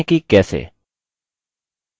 देखते हैं कि कैसे